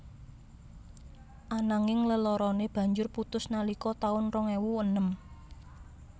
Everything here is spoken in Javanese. Ananging leloroné banjur putus nalika taun rong ewu enem